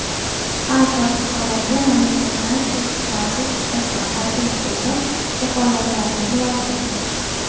Har bir fuqaroga mamlakatdan toʼsiqlarsiz chiqish va qaytish huquqi kafolatlanishi lozim.